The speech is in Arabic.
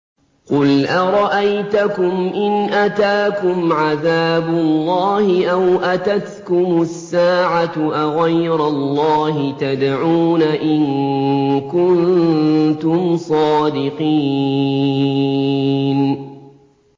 قُلْ أَرَأَيْتَكُمْ إِنْ أَتَاكُمْ عَذَابُ اللَّهِ أَوْ أَتَتْكُمُ السَّاعَةُ أَغَيْرَ اللَّهِ تَدْعُونَ إِن كُنتُمْ صَادِقِينَ